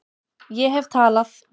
Ég hef talað